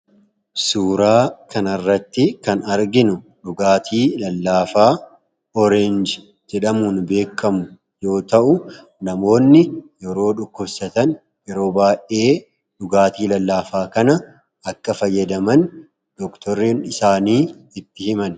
Suuraa kanaa gadii irratti kan argamu dhugaatii lallaafaa burtukaanaati. Namoonni yeroo dhukkubsatan dhugaatiin kun kan heyyamamuufiidha.